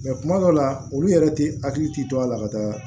kuma dɔw la olu yɛrɛ tɛ hakili ti to a la ka taa